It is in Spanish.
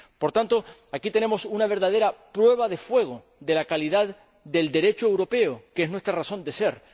Por tanto, aquí tenemos una verdadera prueba de fuego de la calidad del Derecho europeo, que es nuestra razón de ser.